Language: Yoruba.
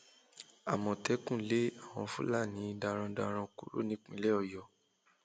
àmọtẹkùn lé àwọn fúlàní darandaran kúrò nípìnlẹ ọyọ